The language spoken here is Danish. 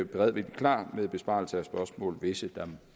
beredvilligt klar til besvarelse af spørgsmål hvis der